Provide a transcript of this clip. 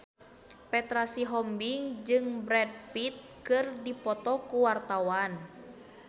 Petra Sihombing jeung Brad Pitt keur dipoto ku wartawan